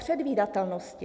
Předvídatelnosti.